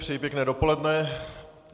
Přeji pěkné dopoledne.